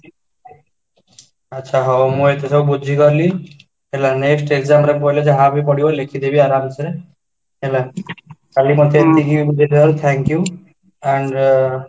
ଆଛା ମୁଁ ଏବେ ସବୁ ବୁଝିଗଲି ହେଲେ next EXAM ରେ ପଡିଲେ ଯାହାବି ପଡିବ ଲେଖିଦେବି ଅରାମ ସେ ହେଲା ତା'ହାଲେ ମତେ ଏତିକି ବୁଝିଥିବାରୁ thank you and